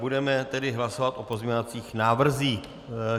Budeme tedy hlasovat o pozměňovacích návrzích.